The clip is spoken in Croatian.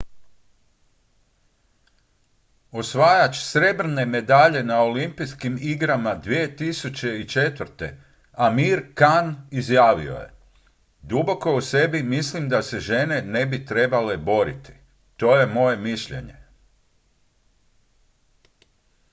"osvajač srebrne medalje na olimpijskim igrama 2004. amir khan izjavio je: "duboko u sebi mislim da se žene ne bi trebale boriti. to je moje mišljenje.""